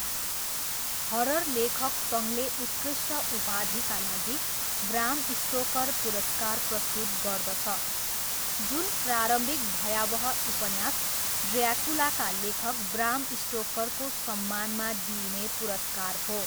Horror लेखक सङ्घले उत्कृष्ट उपलब्धिका लागि ब्राम स्टोकर पुरस्कार प्रस्तुत गर्दछ, जुन प्रारम्भिक भयावह उपन्यास ड्र्याकुलाका लेखक ब्राम स्टोकरको सम्मानमा दिइने पुरस्कार हो।